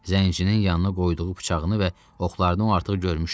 Zəncirinin yanına qoyduğu bıçağını və oxlarını o artıq görmüşdü.